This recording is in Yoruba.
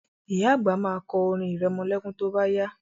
Ìyá àgbà ma kọ orin irẹmọlẹ́kún tó bá yá